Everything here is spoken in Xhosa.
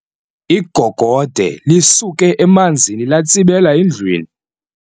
Igogode lisuke emanzini latsibela endlwini.